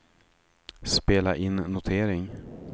spela in notering